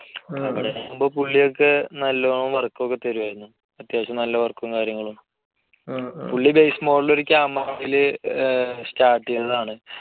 അവിടേയാകുമ്പോൾ പുള്ളി ഒക്കെ നല്ലോണം work ഒക്കെ തരുമായിരുന്നു. അത്യാവശ്യം നല്ല work ഉം കാര്യങ്ങളും. പുള്ളി base model ഒരു camera അതിൽ start ചെയ്തതാണ്.